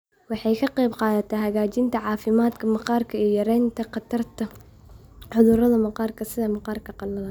Waxay ka qaybqaadataa hagaajinta caafimaadka maqaarka iyo yaraynta khatarta cudurrada maqaarka sida maqaarka qalalan.